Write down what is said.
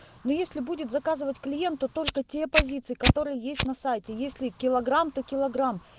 ну если будет заказывать клиенту только те позиции которые есть на сайте если килограмм то килограмм